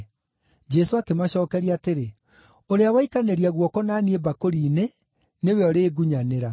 Jesũ akĩmacookeria atĩrĩ, “Ũrĩa waikanĩria guoko na niĩ mbakũri-inĩ nĩwe ũrĩngunyanĩra.